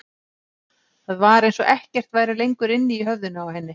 Það var eins og ekkert væri lengur inni í höfðinu á henni.